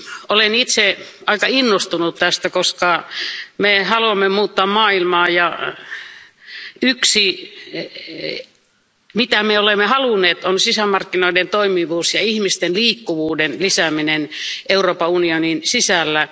Olen itse aika innostunut tästä, koska me haluamme muuttaa maailmaa, ja yksi, mitä me olemme halunneet, on sisämarkkinoiden toimivuus ja ihmisten liikkuvuuden lisääminen Euroopan unionin sisällä.